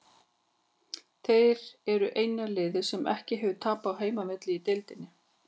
Þeir eru eina liðið sem ekki hefur tapað á heimavelli í deildinni.